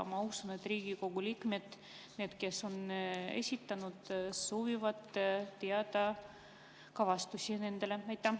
Ma usun, et Riigikogu liikmed, kes on esitanud, soovivad teada saada ka vastuseid.